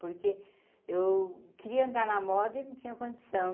Porque eu queria andar na moda e não tinha condição.